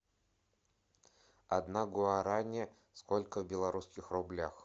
одна гуарани сколько в белорусских рублях